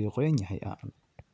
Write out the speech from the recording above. iyo mustard, taas oo dhammaan.